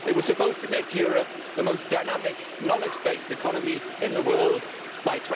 It was supposed to make Europe the most dynamic knowledge based economy in the world by